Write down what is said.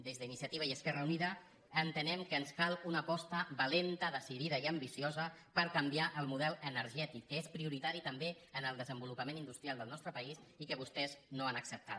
des d’iniciativa i esquerra unida entenem que ens cal una aposta valenta decidida i ambiciosa per canviar el model energètic que és prioritari també en el desenvolupament industrial del nostre país i que vostès no han acceptat